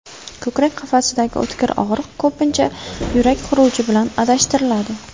Ko‘krak qafasidagi o‘tkir og‘riq ko‘pincha yurak xuruji bilan adashtiriladi.